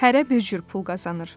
Hərə bir cür pul qazanır.